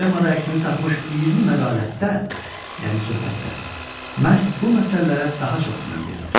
Poemada əksini tapmış 20 məqalətdə, yəni söhbətdə, məhz bu məsələlərə daha çox önəm verilir.